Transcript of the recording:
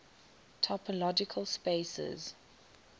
topological spaces